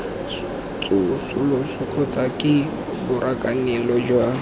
tsosoloso kgotsa ke borakanelo jwa